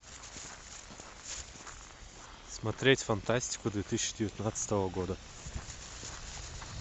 смотреть фантастику две тысячи девятнадцатого года